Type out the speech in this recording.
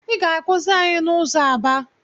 Ị ga-akwụsị anyị n’ụzọ